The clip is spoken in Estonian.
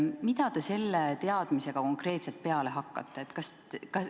Mida te selle teadmisega konkreetselt peale hakkate?